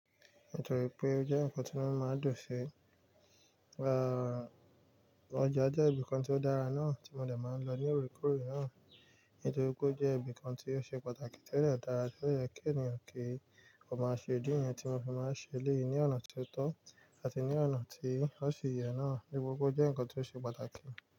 Nítorí pé ó jẹ́ ǹkan tí inumi máa ń dùn si. Aaa, ọjà jẹ́ ibìkan tí ó dára náà tí mo dẹ̀ máa ń lọ ní orekore náà. Nítorí pé ó jẹ́ ibìkan tí ó ṣe pàtàkì tí ó dẹ dára, tí ó yẹ kí ènìyàn kí ó máa ṣe. Idí niyẹn tí mo fi máa ń ṣe eléyìí ní ọ̀nà tó tọ́ àti ní ọ̀nà tí ó ṣe yẹ náà. Ibùdó ọjà jẹ́ ǹkan tí ó ṣe pàtàkì.